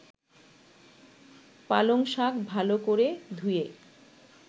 পালংশাক ভালো করে ধুয়ে